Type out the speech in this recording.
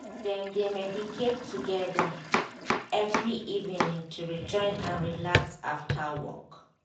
dem de meditate together every evening to rejoin and relax after work.